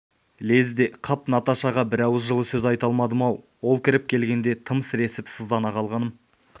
лезде қап наташаға бір ауыз жылы сөз айта алмадым-ау ол кіріп келгенде тым сіресіп сыздана қалғаным